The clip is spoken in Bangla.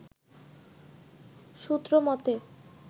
সূত্র মতে